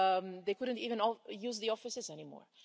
they couldn't even use the offices anymore.